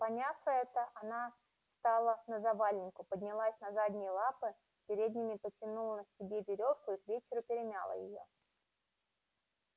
поняв это она стала на завалинку поднялась на задние лапы передними подтянула себе верёвку и к вечеру перемяла её